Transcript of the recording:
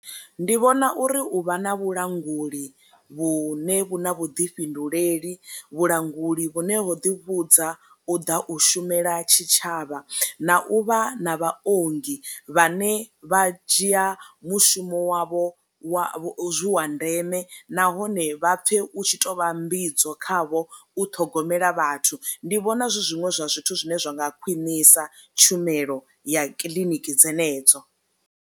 Ndi vhona uri u vha na vhulanguli vhune vhu na vhuḓifhinduleli, vhulanguli vhu ne ho ḓi vhudza u ḓa u shumela tshitshavha na u vha na vhaongi vhane vha dzhia mushumo wavho wa wa ndeme nahone vha pfe u tshi to vha mbidzo khavho u ṱhogomela, vhathu ndi vhona zwi zwiṅwe zwa zwithu zwine zwa nga khwinisa tshumelo ya kiḽiniki dzenedzo.